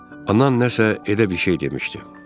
Anan nəsə elə bir şey demişdi.